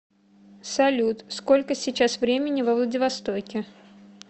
салют сколько сейчас времени во владивостоке